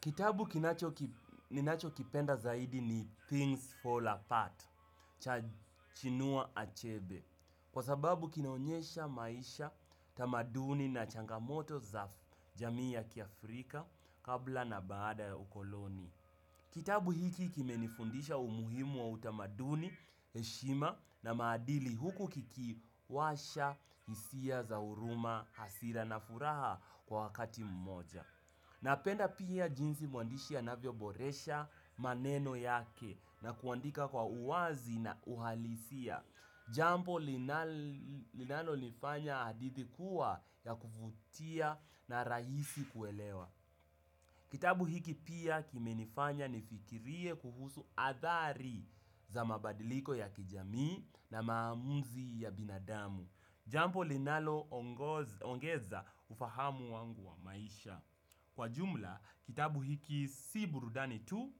Kitabu kinacho ninachokipenda zaidi ni Things Fall Apart, chinua achebe, kwa sababu kinaonyesha maisha, tamaduni na changamoto za jamii ya kiafrika kabla na baada ya ukoloni. Kitabu hiki kimenifundisha umuhimu wa utamaduni, heshima na madili huku kiki washa, hisia, za huruma, hasira na furaha kwa wakati mmoja. Napenda pia jinsi mwandishi anavyo boresha maneno yake na kuandika kwa uwazi na uhalisia. Jambo linalonifanya hadithi kuwa ya kuvutia na rahisi kuelewa. Kitabu hiki pia kimenifanya nifikirie kuhusu athari za mabadiliko ya kijami na maamuzi ya binadamu. Jampo linalo ongeza ufahamu wangu wa maisha. Kwa jumla kitabu hiki si burudani tu